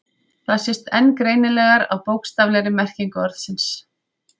Þetta sést enn greinilegar á bókstaflegri merkingu orðsins.